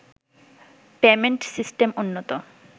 payment system উন্নত